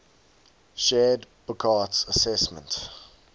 shared burckhardt's assessment